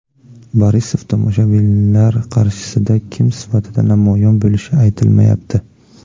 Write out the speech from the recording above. Borisov tomoshabinlar qarshisida kim sifatida namoyon bo‘lishi aytilmayapti.